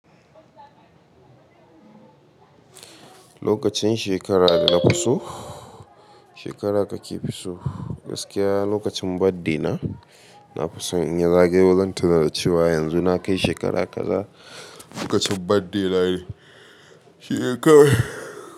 Lokacin shekara da na fi so, shekara kakefi so, gaskiya lokacin birthday na, na fi so in ya zagayo zan tuna cewa yanzu na kai shekara kaza. Lokacin birthday na ne shekarar.